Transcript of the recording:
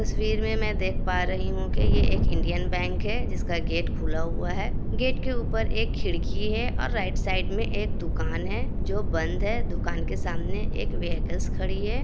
तस्वीर में मैं देख पा रही हूँ की ये एक इंडियन बैंक है जिसका गेट खुला हुआ है| गेट के ऊपर एक खिड़की है और राइट साइड में एक दूकान है जो बंद है| दुकान के सामने एक व्हीकल्स खड़ी है।